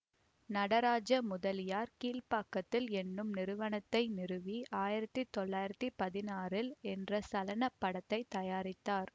நடராஜ முதலியார் கீழ்பாக்கத்தில் என்னும் நிறுவனத்தை நிறுவி ஆயிரத்தி தொள்ளாயிரத்தி பதினாறில் என்ற சலனப் படத்தை தயாரித்தார்